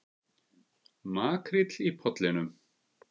Makríll í Pollinum